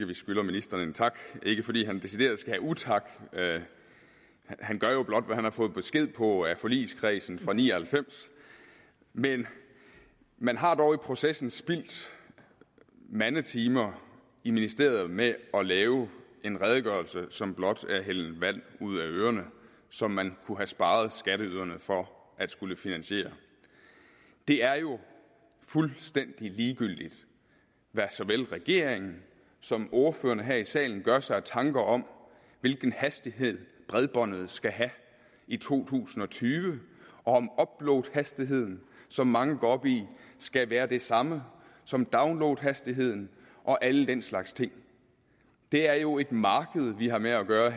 vi skylder ministeren en tak ikke fordi han decideret skal have utak han gør jo blot hvad han har fået besked på af forligskredsen fra nitten ni og halvfems men man har dog i processen spildt mandetimer i ministeriet med at lave en redegørelse som blot er at hælde vand ud af ørerne som man kunne have sparet skatteyderne for at skulle finansiere det er jo fuldstændig ligegyldigt hvad såvel regeringen som ordførerne her i salen gør sig af tanker om hvilken hastighed bredbåndet skal have i to tusind og tyve og om uploadhastigheden som mange går op i skal være det samme som downloadhastigheden og alle den slags ting det er jo et marked vi har med at gøre